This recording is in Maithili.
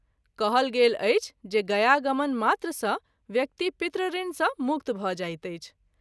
कहल गेल अछि जे गया गमन मात्र सँ व्यक्ति पितृऋण सँ मुक्त भ’ जाइत अछि।